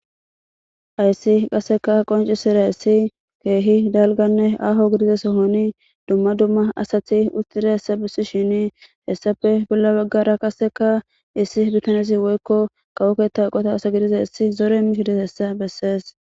Hayssi qasseka qoncizaysi keehi dalganne aaho gidiza sohoni dumma dumma asati uttida hessa bissi shini hessafe bolla baggara qasseka issi bitanezi woykko kawo ketta eqota asa gidizaysa zore imishe dizaysa bessees